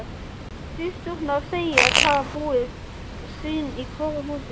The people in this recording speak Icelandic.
Systurnar segjast hafa búið sín í hvoru húsi.